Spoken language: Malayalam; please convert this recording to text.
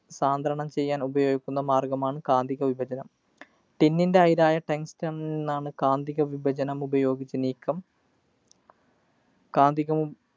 സാന്ദ്രണം ചെയ്യാനുപയോഗിക്കുന്ന മാര്‍ഗ്ഗമാണ് കാന്തിക വിഭജനം. Tin ൻ്റെ അയിരായ tungsten ആണ് കാന്തിക വിഭജനം ഉപയോഗിച്ച് നീക്കം കാന്തികം